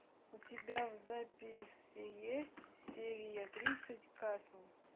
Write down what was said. у тебя в записи есть серия тридцать касл